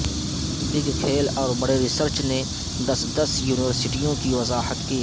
big کھیل اور بڑے ریسرچ نے دس دس میں یونیورسٹیوں کی وضاحت کی